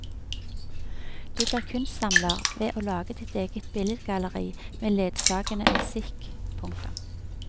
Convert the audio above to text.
Du blir kunstsamler ved å lage ditt eget billedgalleri med ledsagende musikk. punktum